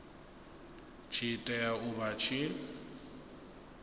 tshi tea u vha tshi